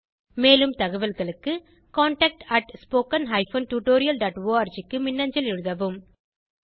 மேலும் தகவல்களுக்கு contactspoken tutorialorg க்கு மின்னஞ்சல் எழுதவும்